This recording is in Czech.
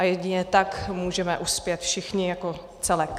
A jedině tak můžeme uspět všichni jako celek.